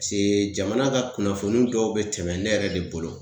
Pase jamana ka kunnafoni dɔw be tɛmɛ ne yɛrɛ de bolo